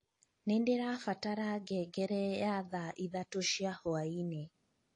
nīndirabatara ngengere ya thaa ithatū cia hwaīinī